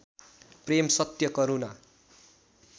प्रेम सत्य करुणा